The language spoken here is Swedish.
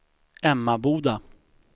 Emmaboda